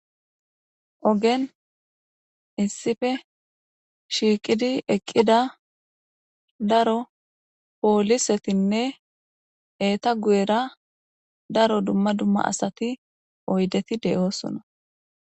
ogen issife shiiqidi eqqida daro poolisetinne eeta gu7era daro dumma dumma asati oydeti de7oosona